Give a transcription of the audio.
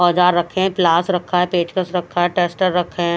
औजार रखे हैं प्लास रखा है पेचकस रखा है टेस्टर रखे हैं।